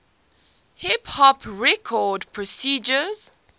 hip hop record producers